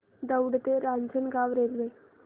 दौंड ते रांजणगाव रेल्वे